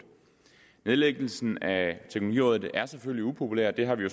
nedlæggelsen af teknologirådet er selvfølgelig upopulær det har vi